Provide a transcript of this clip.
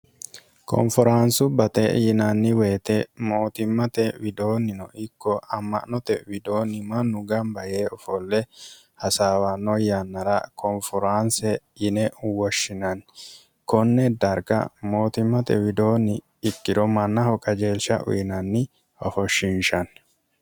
konforaansu bate yinanni woyite mootimmate widoonnino ikko amma'note widoonni mannu gamba yee ofolle hasaawanno yannara koonforaanse yine uwoshshinanni konne darga mootimmate widoonni ikkiro mannaho kajeelsha uyinanni hofoshshinshanni